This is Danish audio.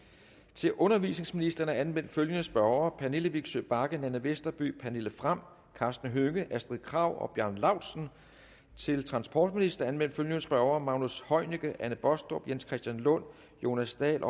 til undervisningsministeren er anmeldt følgende spørgere pernille vigsø bagge nanna westerby pernille frahm karsten hønge astrid krag bjarne laustsen til transportministeren er anmeldt følgende spørgere magnus heunicke anne baastrup jens christian lund jonas dahl